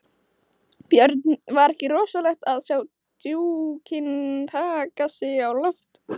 Björn: Var ekki rosalegt að sjá dúkinn taka sig á loft?